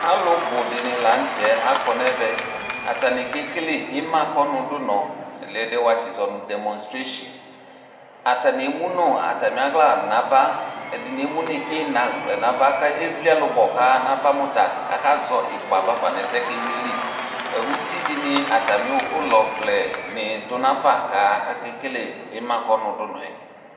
Alʋ bʋ di ni la nʋ tɛ akɔ nɛvɛ Atani kekele imakɔnʋdʋnɔ, aloo ɛdiɛ wuatsizɔ nʋ dɛmonstiresi Atani emu nʋ atami aɣla nava, ɛdini emu nʋ inaɣla nava kʋ evli ɛlʋbɔ kʋ aɣa nava mʋta akazɔ ikpa bafa nʋ ɛsɛ ɛ boa kʋ akewle yɛ li Uti di ni atami ʋlɔvlɛ ni dʋ nafa kʋ akekele imakɔnʋdʋnɔ ɛ